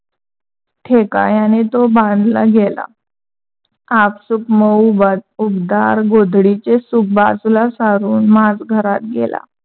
ठेकायाने तो बांधला गेला. आपसूक मऊ उबदार गोडदीचे सुख बाजूला सारून माज घरात गेला.